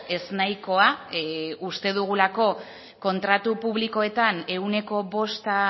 eznahikoa uste dugulako kontratu publikoetan ehuneko bosta